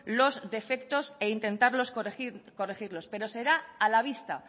los defectos e intentar corregirlos pero será a la vista